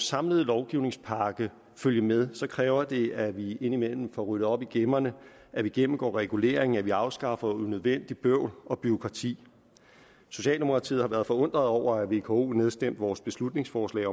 samlede lovgivningspakke følge med kræver det at vi indimellem får ryddet op i gemmerne at vi gennemgår reguleringen og at vi afskaffer unødvendigt bøvl og bureaukrati socialdemokratiet har været forundret over at vko nedstemte vores beslutningsforslag